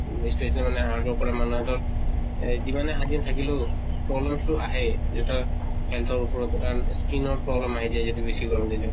বেছি এইটো মানে hard work কৰা মানুহে টো য়ে যিমানে শান্তিত থাকিলেও, problems টো আহে। health ৰ উপৰত কাৰণ skin ৰ problem আহি যায় যদি বেছি গৰম দিলে।